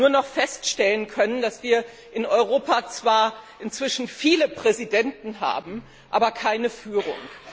nur noch feststellen können, dass wir in Europa zwar inzwischen viele Präsidenten haben, aber keine Führung.